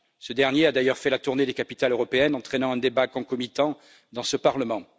Ce dernier a d'ailleurs fait la tournée des capitales européennes, entraînant un débat concomitant dans ce Parlement.